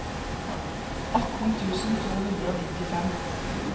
atten tusen to hundre og nittifem